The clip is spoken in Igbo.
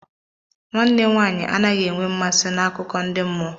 Nwanne nwaanyị anaghị enwe mmasị n'akụkọ ndị mmụọ.